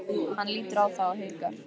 Hann lítur á þá og hikar.